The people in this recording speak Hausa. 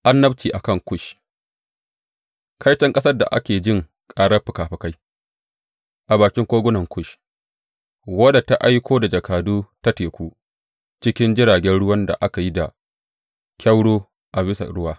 Annabci a kan Kush Kaiton ƙasar da ake jin ƙarar fikafikai a bakin kogunan Kush, wadda ta aiko da jakadu ta teku cikin jiragen ruwan da aka yi da kyauro a bisa ruwa.